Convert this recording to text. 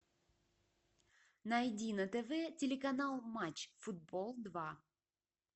найди на тв телеканал матч футбол два